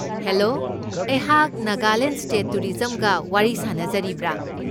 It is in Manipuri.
ꯍꯦꯂꯣ! ꯑꯩꯍꯥꯛ ꯅꯥꯒꯥꯂꯦꯟ ꯁ꯭ꯇꯦꯠ ꯇꯨꯔꯤꯖꯝꯒ ꯋꯥꯔꯤ ꯁꯥꯅꯖꯔꯤꯕ꯭ꯔꯥ?